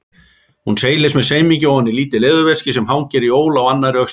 Hún seilist með semingi ofan í lítið leðurveski sem hangir í ól á annarri öxlinni.